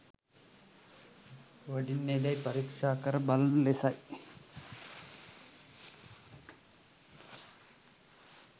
වඩින්නේදැයි පරීක්‍ෂා කර බලන ලෙසයි.